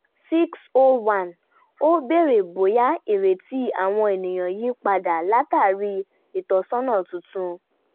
six O one ó béèrè bóyá ìrètí àwọn ènìyàn yí padà látàrí ìtọ́sọ́nà tuntun